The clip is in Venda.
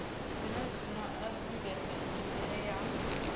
zwenezwino a sumbedza nyimele ya